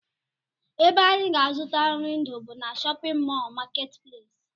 Ebe anyị ga-azụta nri ndụ bụ na shọpịn mọl marketplace